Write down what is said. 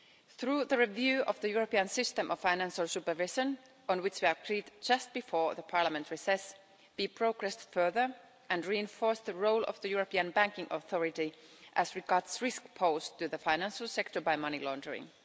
Through the review of the European System of Financial Supervision, on which we agreed just before the parliamentary recess, we progressed further and reinforced the role of the European Banking Authority as regards risks posed to the financial sector by money laundering.